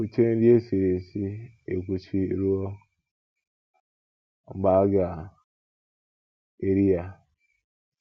Kwuchie nri e siri esi ekwuchi ruo mgbe a ga - eri ya.